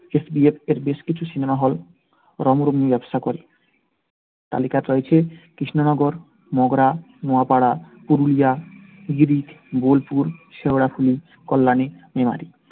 SBF এর বেশ কিছু cinema hall রমরমিয়ে ব্যবসা করে. তালিকাতে রয়েছে কৃষ্ণনগর, মগরা, নোয়াপাড়া, পুরুলিয়া, গাড়িট, বোলপুর, শেওড়াফুলি, কল্যাণী, মেমারি।